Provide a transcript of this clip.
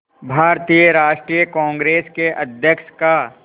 भारतीय राष्ट्रीय कांग्रेस के अध्यक्ष का